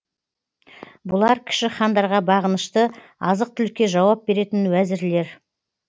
бұлар кіші хандарға бағынышты азық түлікке жауап беретін уәзірлер